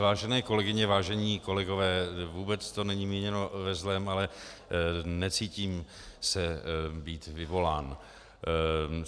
Vážené kolegyně, vážení kolegové, vůbec to není míněno ve zlém, ale necítím se být vyvolán.